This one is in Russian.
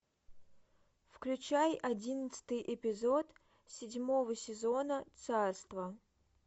включай одиннадцатый эпизод седьмого сезона царство